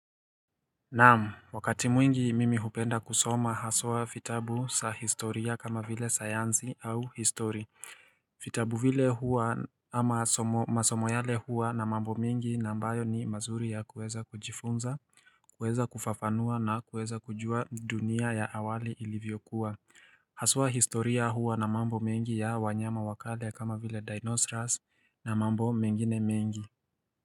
Naam wakati mwingi mimi hupenda kusoma haswa vitabu za historia kama vile sayansi au historia vitabu vile huwa ama masomo yale huwa na mambo mingi ambayo ni mazuri ya kuweza kujifunza kuweza kufafanua na kuweza kujua dunia ya awali ilivyokuwa Haswa historia huwa na mambo mengi ya wanyama wakale kama vile dinosaurs na mambo mengine mengi.